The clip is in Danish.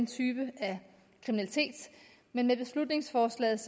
typer af kriminalitet men med beslutningsforslaget